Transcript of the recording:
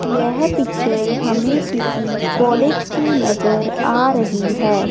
यह पिक्चर हमें किसी कॉलेज की नजर आ रही है।